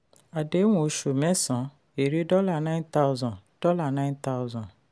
àdéhùn osù mẹ́sàn èrè dollar nine thousand dollar nine thousand